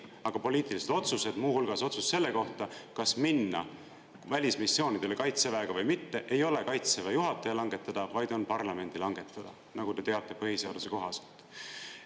Aga poliitilised otsused, muu hulgas otsus selle kohta, kas minna välismissioonidele kaitseväega või mitte, ei ole kaitseväe juhataja langetada, vaid on parlamendi langetada, nagu te teate, põhiseaduse kohaselt.